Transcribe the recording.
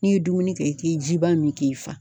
N'i ye dumuni kɛ i tɛ ji ba min k'i fa.